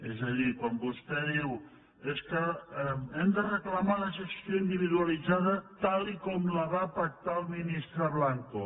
és a dir quan vostè diu és que hem de reclamar la gestió individualitzada tal com la va pactar el ministre blanco